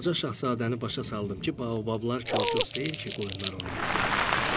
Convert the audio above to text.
Balaca şahzadəni başa saldım ki, baobablar kol-kos deyil ki, qoyunlar onu yesin.